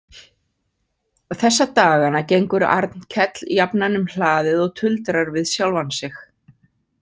Þessa dagana gengur Arnkell jafnan um hlaðið og tuldrar við sjálfan sig.